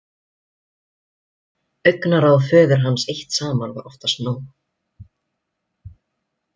Augnaráð föður hans eitt saman var oftast nóg.